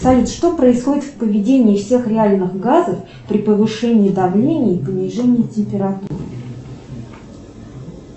салют что происходит в поведении всех реальных газов при повышении давления и понижении температуры